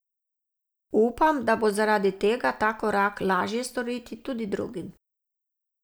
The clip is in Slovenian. Upam, da bo zaradi tega ta korak lažje storiti tudi drugim.